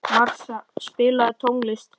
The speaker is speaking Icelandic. Marsa, spilaðu tónlist.